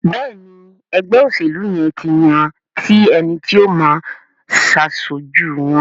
Béèni ègbé òṣèlú yén tí yàn ti ẹní tí o má aṣojú wón.